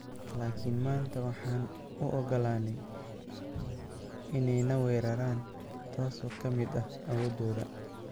Laakin maanta waxaan u ogolaanay inay na weeraraan, taasoo ka mid ah awoodooda.